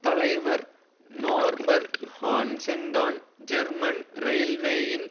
தலைவர் நோர்பர்ட் ஹான்சென்தான் ஜெர்மன் ரெயில்வேயின்